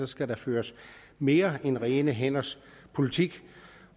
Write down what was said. skal der føres mere end rene hænders politik